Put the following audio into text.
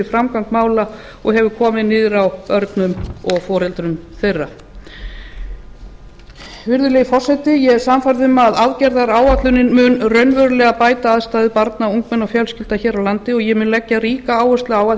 framgang mála og hefur komið niður á börnum og foreldrum þeirra virðulegi forseti ég er sannfærð um að aðgerðaáætlunin mun raunverulega bæta aðstæður barna og ungmenna og fjölskyldna hér á landi og ég mun leggja ríka áherslu á að